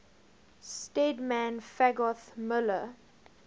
stedman fagoth muller